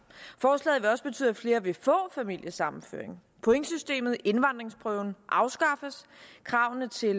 forslaget vil også betyde at flere vil få familiesammenføring pointsystemet indvandringsprøven afskaffes kravene til